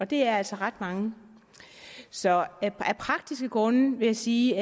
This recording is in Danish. det er altså ret mange så af praktiske grunde vil jeg sige